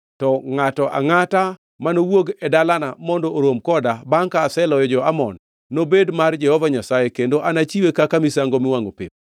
to ngʼato angʼata mani wuog e dalana mondo orom koda bangʼ ka aseloyo jo-Amon nobed mar Jehova Nyasaye, kendo anachiwe kaka misango miwangʼo pep.”